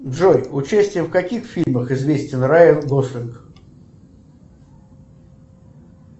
джой участием в каких фильмах известен райан гослинг